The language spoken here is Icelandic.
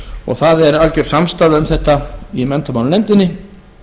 og það er algjör samstaða um þetta í menntamálanefndinni